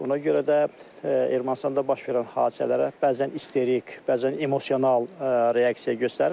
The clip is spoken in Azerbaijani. Ona görə də Ermənistanda baş verən hadisələrə bəzən isterik, bəzən emosional reaksiya göstərir.